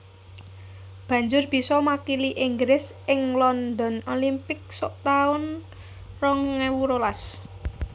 Banjur bisa makili Inggris ing London Olympics suk taun rong ewu rolas